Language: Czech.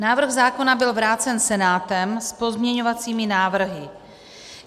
Návrh zákona byl vrácen Senátem s pozměňovacími návrhy.